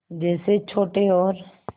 जैसे छोटे और